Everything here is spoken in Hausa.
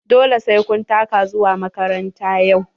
Dole sai kun taka zuwa makaranta yau.